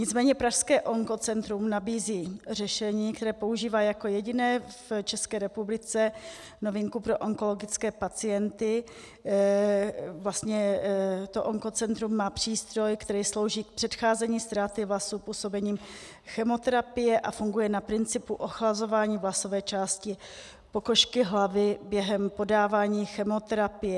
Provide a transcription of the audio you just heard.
Nicméně pražské Onkocentrum nabízí řešení, které používá jako jediné v České republice, novinku pro onkologické pacienty, vlastně to Onkocentrum má přístroj, který slouží k předcházení ztráty vlasů působením chemoterapie a funguje na principu ochlazování vlasové části pokožky hlavy během podávání chemoterapie.